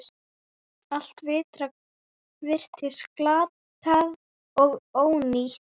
Allt virtist glatað og ónýtt.